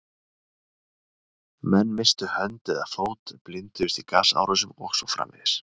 Menn misstu hönd eða fót, blinduðust í gasárásum og svo framvegis.